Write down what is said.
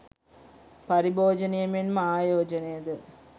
පරිභෝජනය මෙන්ම ආයෝජනයද